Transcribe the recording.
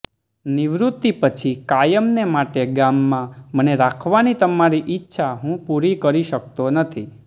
નિવૃત્તિ પછી કાયમને માટે ગામમાં મને રાખવાની તમારી ઈચ્છા હું પૂરી કરી શકતો નથી